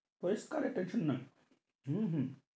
পরিষ্কার এটা ঠিক নই হম হম